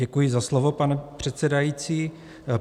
Děkuji za slovo, pane předsedající.